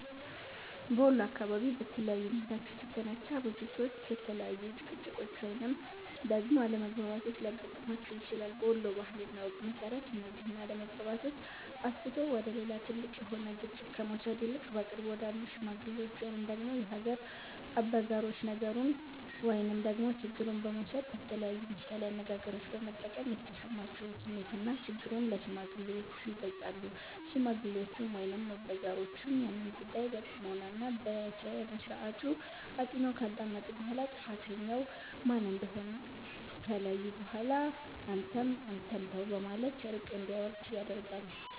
በወሎ አካባቢ በተለያዩ ምክንያቶች የተነሳ፤ ብዙ ሰዎች የተለያዩ ጭቅጭቆች ወይንም ደግሞ አለመግባባቶች ሊያገጥማቸው ይችላል። በወሎ ባህል እና ወግ መሰረት፤ እነዚህን አለመግባባቶች አስፍቶ ወደ ሌላ ትልቅ የሆነ ግጭት ከመውሰድ ይልቅ በቅርብ ወዳሉ ሽማግሎች ወይንም ደግሞ የሀገር አበጋሮች ነገሩን ወይንም ደግሞ ችግሩን በመውሰድ በተለያዩ ምሳሌ አነጋገሮች በመጠቀም የተሰማቸውን ስሜትና ችግሩን ለሽማግሌዎቹ ይገልፃሉ። ሽማግሌዎቹም ወይንም አበጋሮቹም ያንን ጉዳይ በጥሞና እና በስነስርዓቱ አጢነው ካዳመጡ በኋላ ጥፋተኛው ማን እንደሆነ ከለዩ በኋላ አንተም አንተም ተው በማለት እርቅ እንዲወርድ ያደርጋሉ።